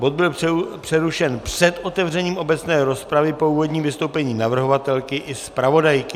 Bod byl přerušen před otevřením obecné rozpravy po úvodním vystoupení navrhovatelky i zpravodajky.